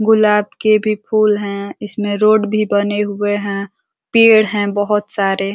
गुलाब के भी फूल हैं। इसमें रोड भी बने हुए हैं। पेड़ हैं बहोत सारे।